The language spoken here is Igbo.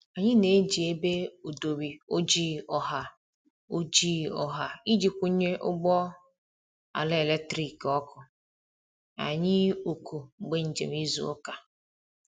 anyi n'eji ebe odori ojịị ọha ojịị ọha iji kwunye ụgbọ ala eletrikị (ọkụ)anyi oku mgbe njem izu uka